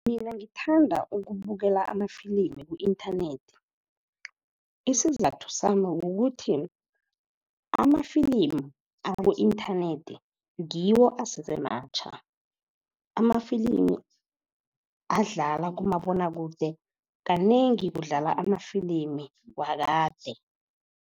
Mina ngithanda ukubukela amafilimi ku-inthanethi, isizathu sami kukuthi ama-film aku-inthanethi ngiwo asese matjha. Amafilimi adlala kumabonwakude kanengi kudlala amafilimu wakade.